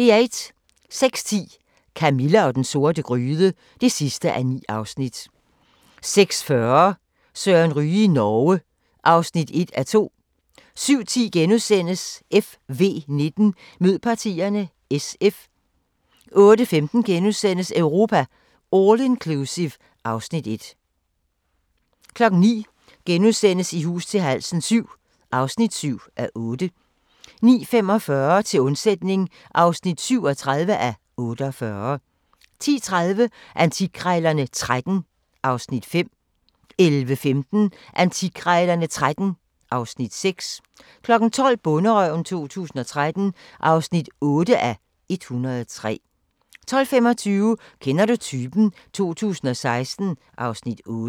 06:10: Camilla og den sorte gryde (9:9) 06:40: Søren Ryge i Norge (1:2) 07:10: FV19: Mød partierne – SF * 08:15: Europa All Inclusive (Afs. 1)* 09:00: I hus til halsen VII (7:8)* 09:45: Til undsætning (37:48) 10:30: Antikkrejlerne XIII (Afs. 5) 11:15: Antikkrejlerne XIII (Afs. 6) 12:00: Bonderøven 2013 (8:103) 12:25: Kender du typen? 2016 (Afs. 8)